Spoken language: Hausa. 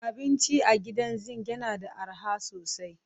Abinci a Gidan Zinc yana da arha sosai